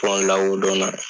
la o dɔnna.